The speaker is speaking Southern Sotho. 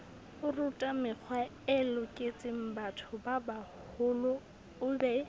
orutamekgwae loketsengbatho babaholo o be